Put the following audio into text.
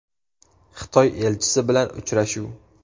Xitoy elchisi bilan uchrashuv.